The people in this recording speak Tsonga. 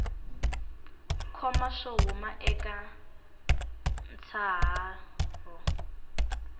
koma swo huma eka ntshaho